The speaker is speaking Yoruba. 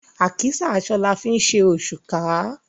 Àkísà aṣọ la fi ńṣe òṣùká.